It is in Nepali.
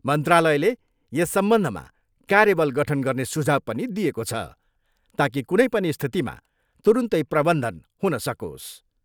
मन्त्रालयले यस सम्बन्धमा कार्यबल गठन गर्ने सुझाउ पनि दिएको छ, ताकि कुनै पनि स्थितिमा तुरन्तै प्रबन्धन हुन सकोस्।